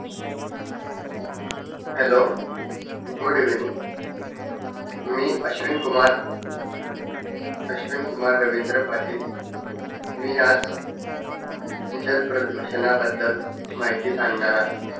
hellogood evening मि अश्विन मि अश्विन कुमार रविंद्र पाटिल मि आज जल प्रदूषणा बदल माहिती सांगणार आहे